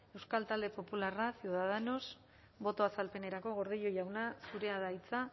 euskal talde popularra ciudadanos boto azalpenerako gordillo jauna zurea da hitza